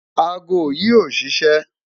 Àágọ̀̀ yi ò ṣiṣẹ̣